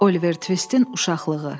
Oliver Twistin uşaqlığı.